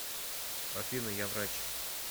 афина я врач